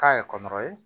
K'a ye kɔnkɔrɔ ye